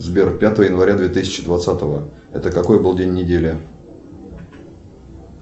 сбер пятое января две тысячи двадцатого это какой был день недели